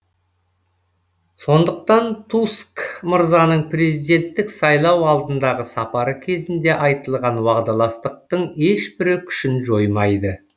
сондықтан туск мырзаның президенттік сайлау алдындағы сапары кезінде айтылған уағдаластықтың ешбірі күшін жоймайды